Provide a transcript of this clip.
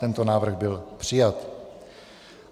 Tento návrh byl přijat.